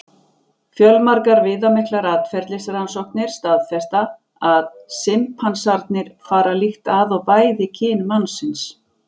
Fjölmargar viðamiklar atferlisrannsóknir staðfesta að simpansarnir fara líkt að og bæði kyn mannsins.